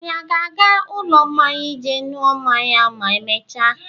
Anyi a ga-aga ụlọ mmanya ije ṅụọ mmanya ma emechaa?